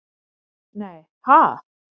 Nei ha?